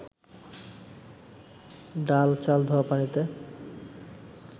ডাল-চাল ধোয়া পানিতে